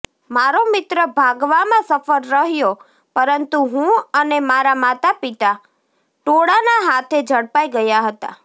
મારો મિત્ર ભાગવામાં સફળ રહ્યો પરંતુ હું અને મારા પિતા ટોળાના હાથે ઝડપાઈ ગયા હતા